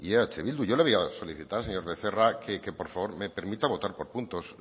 eh bildu yo le voy a solicitar señor becerra que por favor me permita votar por puntos